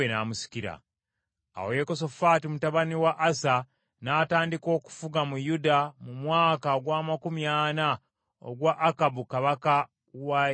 Awo Yekosafaati mutabani wa Asa n’atandika okufuga mu Yuda mu mwaka ogw’amakumi ana ogwa Akabu kabaka wa Isirayiri.